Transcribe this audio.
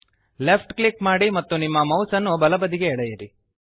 left click ಮಾಡಿ ಮತ್ತು ನಿಮ್ಮ ಮೌಸ್ಅನ್ನು ಬಲಬದಿಗೆ ಎಳೆಯಿರಿ